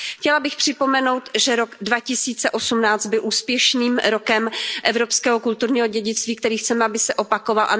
Chtěla bych připomenout, že rok 2018 byl úspěšným rokem Evropského kulturního dědictví, který chceme, aby se opakoval.